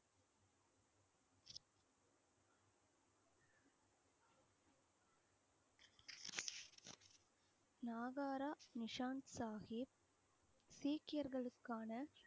நாகர Nishant Sahib சீக்கியர்களுக்கான